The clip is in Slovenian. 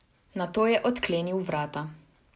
Nato je odklenil vrata.